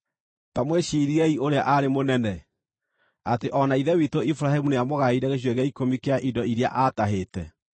Ta mwĩciirie ũrĩa aarĩ mũnene: Atĩ o na ithe witũ Iburahĩmu nĩamũgaĩire gĩcunjĩ gĩa ikũmi kĩa indo iria aatahĩte!